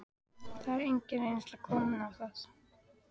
Það er engin reynsla komin á það.